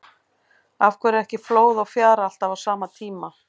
Af hverju er ekki flóð og fjara alltaf á sama tíma?